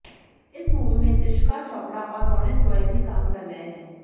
इस मूवी में तिशका चोपड़ा और रोनित रॉय भी काम कर रहे हैं